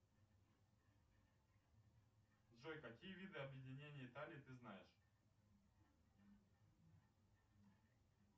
джой какие виды объединения италии ты знаешь